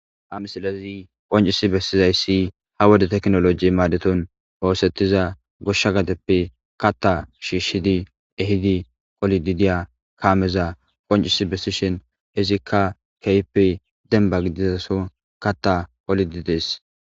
Ha misilezi qoncisi bessizayssi ha wode teknoloji maadeton hoosettiza goshsha gadeppe katta shiishshidi ehidi qolididiya kaameza qoncisi bessishin hizikka keyppe denba gidizaso katta qolidides